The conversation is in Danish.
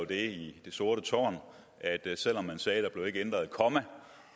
det sorte tårn at selv om man sagde at der ikke blev ændret et komma